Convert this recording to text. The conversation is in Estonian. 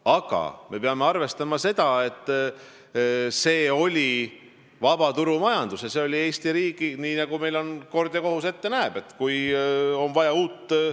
Aga me peame arvestama, et meil Eesti riigis on vabaturumajandus ja kui on vaja uut teenusepakkujat leida, siis nii nagu kord ja kohus ette näeb, leitakse ta hanke korras.